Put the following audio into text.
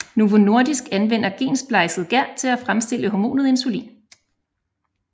Novo Nordisk anvender gensplejset gær til at fremstille hormonet insulin